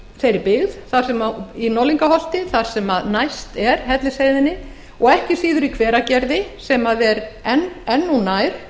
bæta við mælistöðvum í norðlingaholti þar sem næst er hellisheiðinni og ekki síður í hveragerði sem er enn þá nær